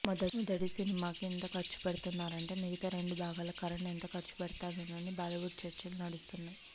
మొదటి సినిమాకే ఇంత ఖర్చుపెడుతున్నారంటే మిగతా రెండు భాగాలకు కరణ్ ఎంత ఖర్చుపెడతాడోనని బాలీవుడ్లో చర్చలు నడుస్తున్నాయి